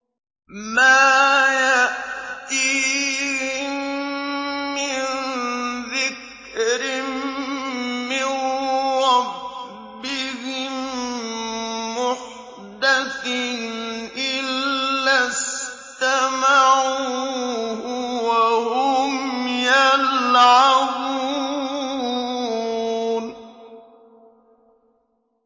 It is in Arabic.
مَا يَأْتِيهِم مِّن ذِكْرٍ مِّن رَّبِّهِم مُّحْدَثٍ إِلَّا اسْتَمَعُوهُ وَهُمْ يَلْعَبُونَ